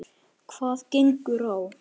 Hvað gengur á?